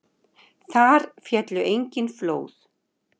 Þar féllu engin flóð.